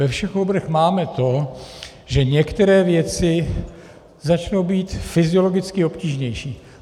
Ve všech oborech máme to, že některé věci začnou být fyziologicky obtížnější.